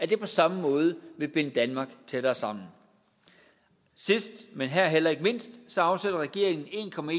det på samme måde binde danmark tættere sammen sidst men heller ikke her mindst afsætter regeringen